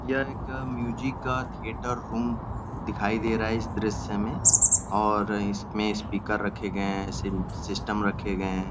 यह एक म्युज़िक का थिएटर रूम दिखाई दे है इस दृश्य में और इसमें स्पीकर रखे गये हैं। सिम सिस्टम रखे गये हैं।